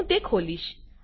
હું તે ખોલીશ